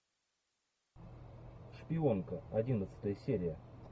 шпионка одиннадцатая серия